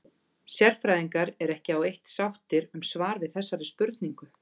Sérfræðingar eru ekki á eitt sáttir um svar við þessari spurningu.